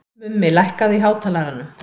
Mummi, lækkaðu í hátalaranum.